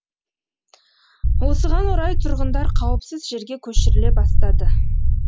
осыған орай тұрғындар қауіпсіз жерге көшіріле бастады